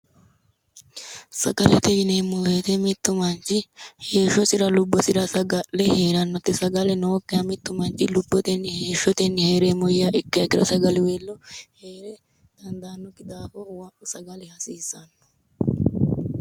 Sagalete yineemmo woyite mittu manchi heeshshosira lubbosira saga'le heerannote. Sagale nookkiha mittu manchi lubbotenni heeshshotenni heereemmoha yiiha ikkiha ikkiro sagaliweello heere dandaannokki daafo sagale hasiissanno.